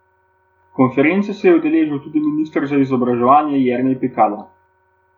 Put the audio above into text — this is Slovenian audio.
Konference se je udeležil tudi minister za izobraževanje Jernej Pikalo.